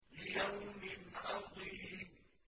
لِيَوْمٍ عَظِيمٍ